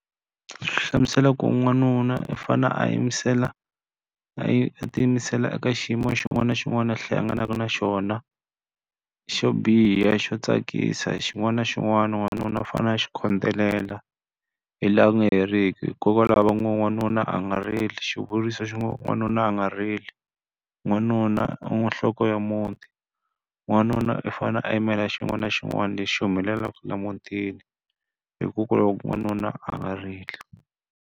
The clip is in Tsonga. Xi hlamusela ku n'wanuna i fanele a yimisela a yi tiyimisela eka xiyimo xin'wana na xin'wana a hlanganaka na xona. Xo biha, xo tsakisa hi xin'wana na xin'wana n'wanuna u fanele a xi khodelela, hi laha ku nga heriki. Hikokwalaho va ngo n'wanuna a nga rili, xivuriso xi ngo n'wanuna a nga rili. N'wanuna a n'wi nhloko ya muti, n'wanuna u fanele a yimela xin'wana na xin'wana lexi humelelaka laha emutini. Hikokwalaho n'wanuna a nga rili.